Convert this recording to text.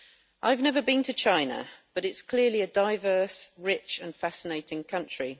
I have never been to China but it is clearly a diverse, rich and fascinating country.